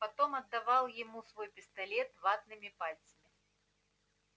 потом отдавал ему свой пистолет ватными пальцами